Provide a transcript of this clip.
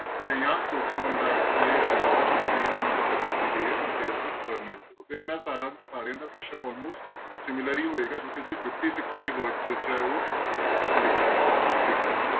ਤੇ ਜਾਂ ਸੌ ਕਿਉਂ ਮੰਦਾ ਆਖੀਐ ਸ਼ਬਦ ਵਿੱਚ ਇਸਤਰੀ ਦੀ ਮਹਾਨਤਾ ਦੱਸੀ ਗਈ ਹੈ ਸੰਖੇਪ ਵਿੱਚ ਵਰਣਨ ਕਰੋ ਤੇ ਇੰਨਾ ਸਾਰਾ ਸਾਰਿਆਂ ਦਾ ਪ੍ਰਸ਼ਨ almost similar ਹੀ ਹੋਏਗੀ ਜੋ ਕਿ ਅਸੀਂ fifty six words ਵਿੱਚ ਹੈ ਉਹ ਲਿਖਣਾ ਹੈ ਲਿਖਣਾ ਹੈ।